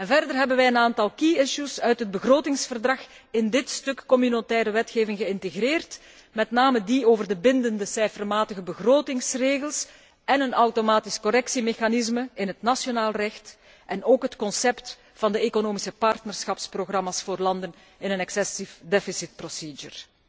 Verder hebben wij een aantal key issues uit het begrotingsverdrag in dit stuk communautaire wetgeving geïntegreerd, met name die over de bindende cijfermatige begrotingsregels en een automatisch correctiemechanisme in het nationaal recht en ook het concept van de economische partnerschapsprogramma's voor landen in een excessieve deficitprocedure.